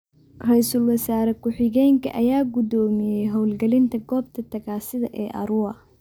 Ra'iisul wasaare ku xigeenka ayaa guddoomiyay howlgelinta goobta tagaasida ee Arua.